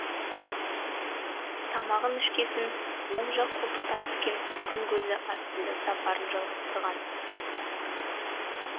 тамағын ішкесін оң жақ қолтықтан түскен күн көзі астында сапарын жалғастырған